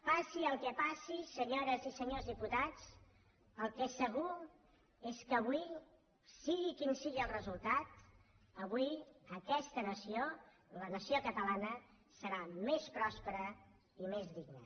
passi el que passi senyores i senyors diputats el que és segur és que avui sigui quin sigui el resultat avui aquesta nació la nació catalana serà més pròspera i més digna